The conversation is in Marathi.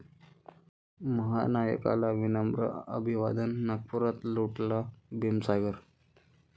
महानायकाला विनम्र अभिवादन, नागपुरात लोटला भीमसागर